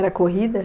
Era corrida?